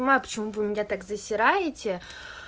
понимаю почему вы меня так засираете